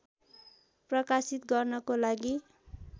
प्रकाशित गर्नको लागि